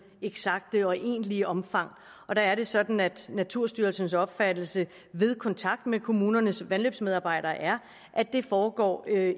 eksakte og egentlige omfang og der er det sådan at naturstyrelsens opfattelse ved kontakt med kommunernes vandløbsmedarbejdere er at det foregår